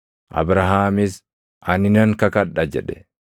Abrahaamis, “Ani nan kakadha” jedhe.